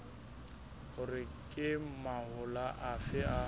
hore ke mahola afe a